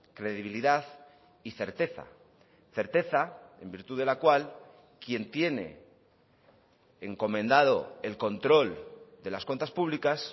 credibilidad y certeza certeza en virtud de la cual quien tiene encomendado el control de las cuentas públicas